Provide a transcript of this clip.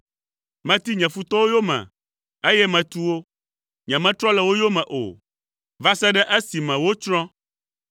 Meti nye futɔwo yome, eye metu wo. Nyemetrɔ le wo yome o, va se ɖe esime wotsrɔ̃.